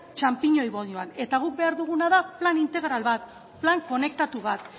txanpiñoi boloan eta guk behar duguna da plan integral bat plan konektatu bat